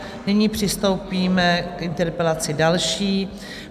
Nyní přistoupíme k interpelaci další.